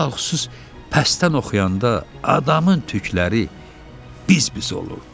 Ələlxüsus pəstdən oxuyanda adamın tükləri biz-biz olurdu.